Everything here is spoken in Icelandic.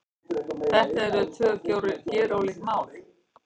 Þetta eru tvö gerólík mál